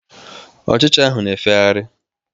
Ochicha ahụ na-efegharị.